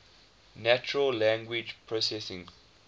natural language processing